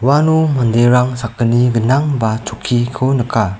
uano manderang sakgni gnang ba chokkiko nika.